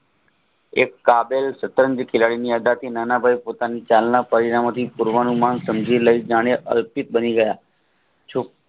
એક કાગળ બધાથી નાનાભાઈ પોતાની જાણે અલ્પિતબાની ગયા